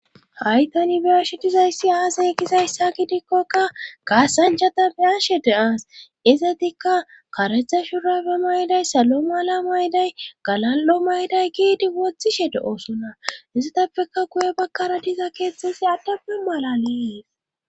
haytani biyashe dizayssi aasey gizayssa gidikkoka kaasanchata beyashe de7aas izatikka karetha shurabe mayday salo mala mayday galal7o mayday giidi wothishe de7oosona izatappeka guye bakkara diza keeththesi addapbe mala lees